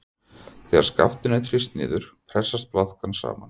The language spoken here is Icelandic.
Þegar skaftinu er þrýst niður pressast blaðkan saman.